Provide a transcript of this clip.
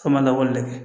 K'a ma labɔli kɛ